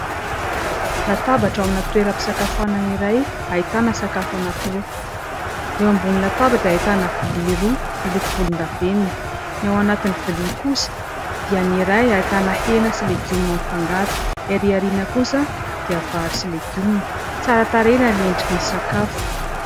Latabatra amina toeram-pisakafoanana iray, ahitana sakafo anankiroa. Eo ambony latabatra dia ahitana vilia roa miloko volondavenona ; ny ao anatin'ny vilia kosa dia : ny iray ahitana hena sy legioma amin'ny fangaro, ny arỳ aoriana kosa dia vary sy legioma. Tsara tarehy raha ny endriky ny sakafo.